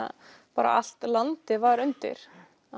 bara allt landið var undir